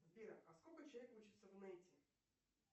сбер а сколько человек учится в нете